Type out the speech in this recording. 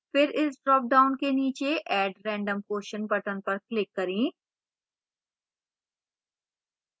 फिर इस dropdown के नीचे add random question button पर click करें